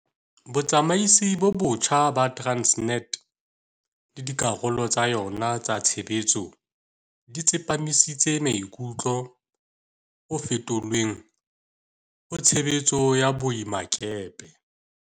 Botsamaisi bo botjha ba Transnet le dikarolo tsa yona tsa tshebetso di tsepamisitse maikutlo ho fetolweng ha tshebetso ya boemakepe.